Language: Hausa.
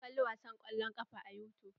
Mun kali wasan kwallon ƙafa a yutub.